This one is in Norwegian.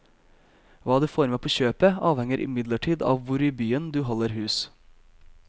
Hva du får med på kjøpet, avhenger imidlertid av hvor i byen du holder hus.